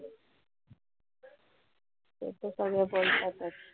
ते त सगळे बोलतातच.